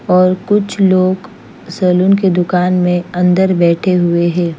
और कुछ लोग सलून की दूकान में अन्दर बेठे हुए है।